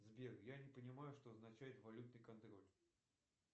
сбер я не понимаю что означает валютный контроль